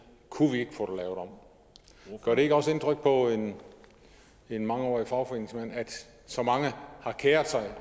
kunne vi ikke få det lavet om gør det også indtryk på en en mangeårig fagforeningsmand at så mange har keret sig